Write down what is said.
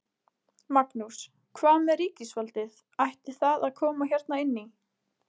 Magnús: Hvað með ríkisvaldið, ætti það að koma hérna inn í?